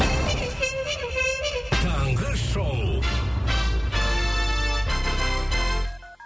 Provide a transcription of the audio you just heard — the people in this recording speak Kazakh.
таңғы шоу